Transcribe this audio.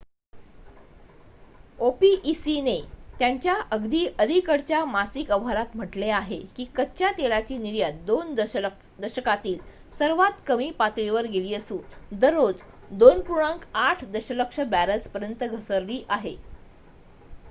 opec ने त्यांच्या अगदी अलीकडच्या मासिक अहवालात म्हटले आहे की कच्च्या तेलाची निर्यात 2 दशकांतील सर्वात कमी पातळीवर गेली असून दररोज 2.8 दशलक्ष बॅरल्सपर्यंत घसरली आली आहे